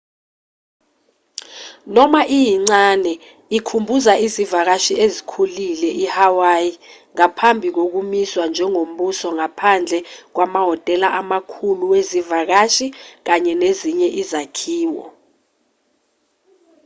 noma iyincane ikhumbuza izivakashi ezikhulile i-hawaii ngaphambi kokumiswa njengombuso ngaphandle kwamahhotela amakhulu wezivakashi kanye nezinye izakhiwo